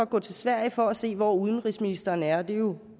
gå til sverige for at se hvor udenrigsministeren er det er jo